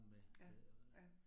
Ja, ja